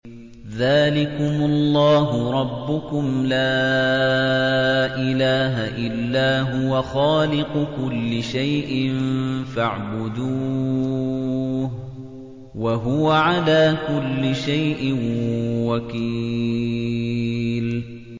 ذَٰلِكُمُ اللَّهُ رَبُّكُمْ ۖ لَا إِلَٰهَ إِلَّا هُوَ ۖ خَالِقُ كُلِّ شَيْءٍ فَاعْبُدُوهُ ۚ وَهُوَ عَلَىٰ كُلِّ شَيْءٍ وَكِيلٌ